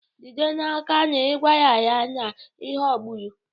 Jide n'aka na ị gwara ya na ị ghọgburu.